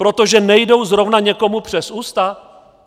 Protože nejdou zrovna někomu přes ústa?